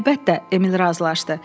Əlbəttə, Emil razılaşdı.